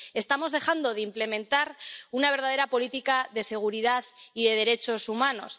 Estamos dejando de implementar una verdadera política de seguridad y de derechos humanos.